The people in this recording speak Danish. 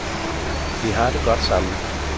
Vi har det godt sammen.